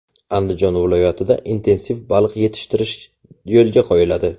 Andijon viloyatida intensiv baliq yetishtirish yo‘lga qo‘yiladi.